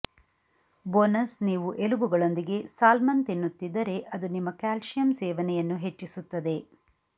bonus ನೀವು ಎಲುಬುಗಳೊಂದಿಗೆ salmon ತಿನ್ನುತ್ತಿದ್ದರೆ ಅದು ನಿಮ್ಮ ಕ್ಯಾಲ್ಸಿಯಂ ಸೇವನೆಯನ್ನು ಹೆಚ್ಚಿಸುತ್ತದೆ